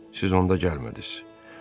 Siz onda gəlmədiniz.